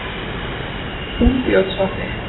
Úlfljótsvatni